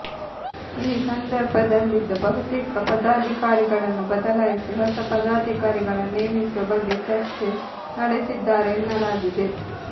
ಈ ಸಂದರ್ಭದಲ್ಲಿದ್ದ ಬಹುತೇಕ ಪದಾಧಿಕಾರಿಗಳನ್ನು ಬದಲಾಯಿಸಿ ಹೊಸ ಪದಾಧಿಕಾರಿಗಳನ್ನು ನೇಮಿಸುವ ಬಗ್ಗೆ ಚರ್ಚೆ ನಡೆಸಿದ್ದಾರೆ ಎನ್ನಲಾಗಿದೆ